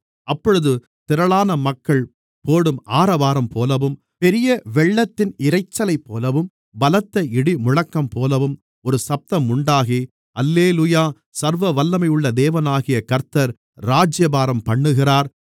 அப்பொழுது திரளான மக்கள் போடும் ஆரவாரம்போலவும் பெரியவெள்ளத்தின் இரைச்சலைப்போலவும் பலத்த இடிமுழக்கம்போலவும் ஒரு சத்தம் உண்டாகி அல்லேலூயா சர்வவல்லமையுள்ள தேவனாகிய கர்த்தர் ராஜ்யபாரம்பண்ணுகிறார்